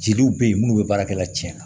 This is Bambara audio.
Jeliw be yen munnu be baarakɛla tiɲɛna